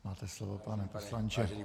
Máte slovo, pane poslanče.